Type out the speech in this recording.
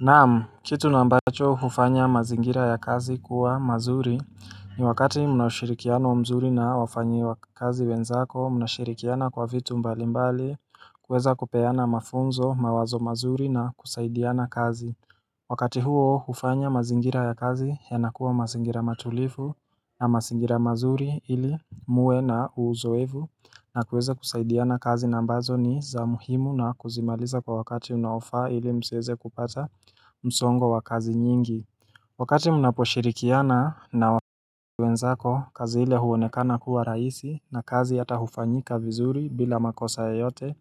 Naam, kitu nambacho hufanya mazingira ya kazi kuwa mazuri ni wakati munashirikiano wa mzuri na wafanyi wa kazi wenzako, munashirikiana kwa vitu mbalimbali, kuweza kupeana mafunzo, mawazo mazuri na kusaidiana kazi. Wakati huo hufanya mazingira ya kazi yanakuwa mazingira matulifu na masingira mazuri ili muwe na uzoevu na kuweza kusaidiana kazi nambazo ni za muhimu na kuzimaliza kwa wakati unaofa ili msiweze kupata msongo wa kazi nyingi Wakati mnaposhirikiana na wakati wenzako, kazi hile huonekana kuwa raisi na kazi yata hufanyika vizuri bila makosa ya yote